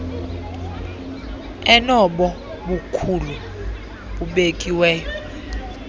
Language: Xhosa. enobo bukhulu bubekiweyo